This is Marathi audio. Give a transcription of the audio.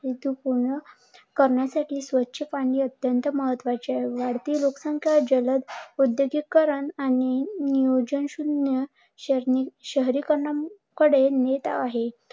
करण्यासाठी स्वच्छ पाणी अत्यंत महत्त्वाचे आहे. वाढती लोकसंख्या, जलद उद्योगिकरण आणि नियोजन शून्य शैली शहरीकरणाकडे नेत आहे.